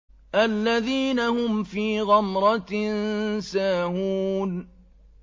الَّذِينَ هُمْ فِي غَمْرَةٍ سَاهُونَ